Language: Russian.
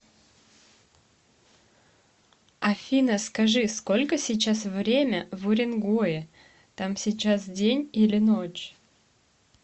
афина скажи сколько сейчас время в уренгое там сейчас день или ночь